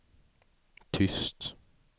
tyst